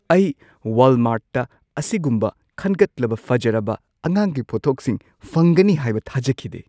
ꯑꯩ ꯋꯥꯜꯃꯥꯔꯠꯇ ꯑꯁꯤꯒꯨꯝꯕ ꯈꯟꯒꯠꯂꯕ ꯐꯖꯔꯕ ꯑꯉꯥꯡꯒꯤ ꯄꯣꯠꯊꯣꯛꯁꯤꯡ ꯐꯪꯒꯅꯤ ꯍꯥꯏꯕ ꯊꯥꯖꯈꯤꯗꯦ ꯫